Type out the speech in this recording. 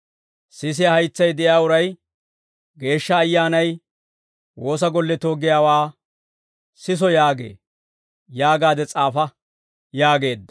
«Sisiyaa haytsay de'iyaa uray Geeshsha Ayyaanay woosa golletoo giyaawaa siso yaagee yaagaade s'aafa» yaageedda.